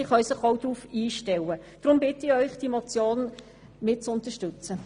Deshalb bitte ich Sie, diese Motion zu unterstützen.